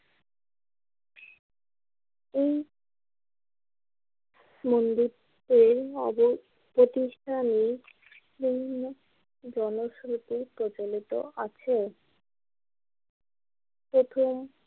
এই মন্দিরটিতে আগের প্রতিষ্ঠানে জনসমিতির প্রচলিত আছে প্রথম।